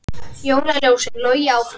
Jólaljósin logi áfram